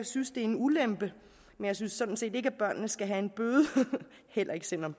synes det er en ulempe men jeg synes sådan set ikke at børnene skal have en bøde heller ikke selv om